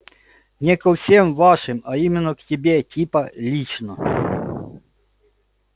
не ко всем вашим а именно к тебе типа лично